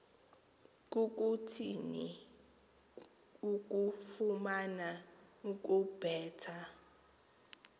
kukuthini ukufuna ukubetha